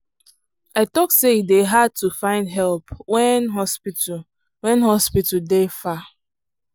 i talk say e dey hard to find help when hospital when hospital dey far.